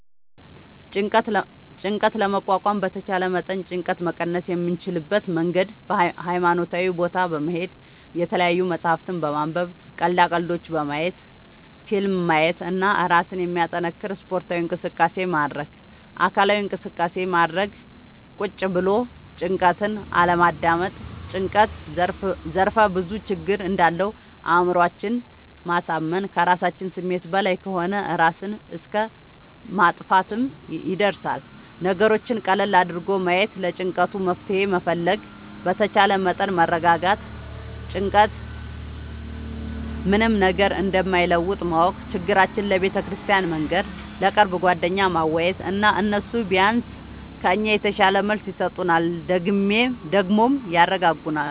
ጭንቀት ለመቋቋም በተቻለ መጠን ጭንቀት መቀነስ የምንችልበት መንገድ ሀይማኖታዊ ቦታ በመሄድ፣ የተለያዪ መፅሀፍት በማንበብ፣ ቀልዳ ቀልዶች በማየት፣ ፊልም ማየት እና እራስን የሚያጠነክር ስፓርታዊ እንቅስቃሴ ማድረግ። አካላዊ እንቅስቃሴ ማድረግ ቁጭ ብሎ ጭንቀትን አለማዳመጥ። ጭንቀት ዘርፍ ብዙ ችግር እንዳለው አእምሮአችን ማሳመን ከራሳችን ስሜት በላይ ከሆነ እራስን እስከ ማጥፍትም ይደርሳል። ነገሮችን ቀለል አድርጎ ማየት ለጭንቀቱ መፍትሄ መፈለግ በተቻለ መጠን መረጋጋት ጭንቀት ምንም ነገር እንደማይለውጥ ማወቅ ችግራችን ለቤተክርስቲያን መንገር፣ ለቅርብ ጓደኛ ማዋየት እና እነሱ ቢያንስ ከኛ የተሻለ መልስ ይሰጡናል ደግሞም ያረጋጉናል።